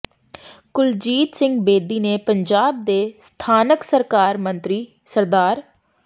ਕੁਲਜੀਤ ਸਿੰਘ ਬੇਦੀ ਨੇ ਪੰਜਾਬ ਦੇ ਸਥਾਨਕ ਸਰਕਾਰ ਮੰਤਰੀ ਸ੍ਰ